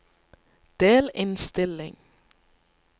delinnstilling